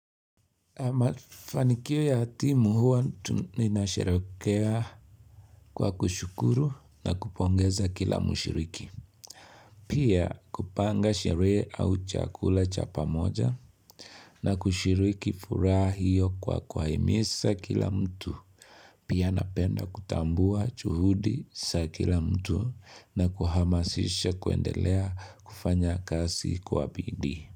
Mafanikio ya timu huwa tunasherehekea kwa kushukuru na kupongeza kila mshiriki. Pia kupanga sherehe au chakula cha pamoja na kushiriki furaha hiyo kwa kuwahimiza kila mtu. Pia napenda kutambua juhudi za kila mtu na kuhamasisha kuendelea kufanya kazi kwa bidii.